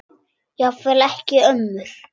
Jafnvel ekki ömmur.